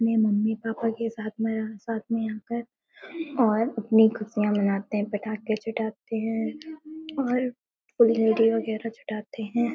अपने mummy papa के साथ मेंसाथ में आकर और अपनी खुशियाँ मानते हैं। पटाखे छुटाते हैं और फुलझड़ी वगैरह छुटाते हैं।